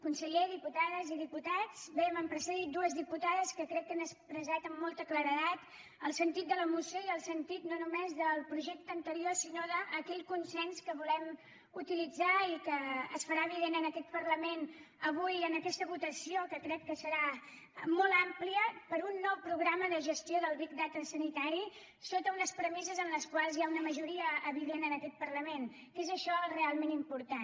conseller diputades i diputats bé m’han precedit dues diputades que crec que han expressat amb molta claredat el sentit de la moció i el sentit no només del projecte anterior sinó d’aquell consens que volem utilitzar i que es farà evident en aquest parlament avui en aquesta votació que crec que serà molt àmplia per a un nou programa de gestió del big data sanitari sota unes premisses en les quals hi ha una majoria evident en aquest parlament que és això el realment important